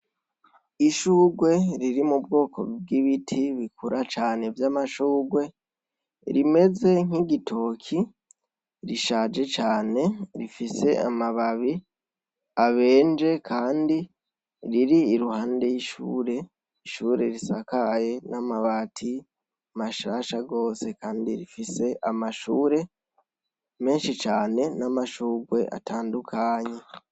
Ishugwe riri mu bwoko bw'ibiti bikura cane vy'amashugwe rimeze nk'igitoki rishaje cane rifise amababi abenje, kandi riri iruhande y'ishure ishure risakaye n'amabati masha shasha rwose, kandi rifise amashure menshi cane n'amashurwe atandukanyi.